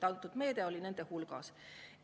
Antud meede oli nende hulgas.